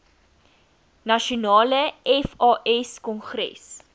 nasionale fas kongres